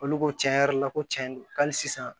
Olu ko tiɲɛ yɛrɛ yɛrɛ la ko cɛn do hali sisan